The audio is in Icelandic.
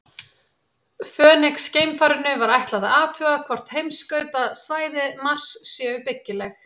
Fönix-geimfarinu var ætlað að athuga hvort heimskautasvæði Mars séu byggileg.